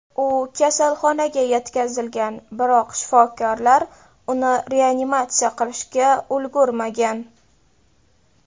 U kasalxonaga yetkazilgan, biroq shifokorlar uni reanimatsiya qilishga ulgurmagan.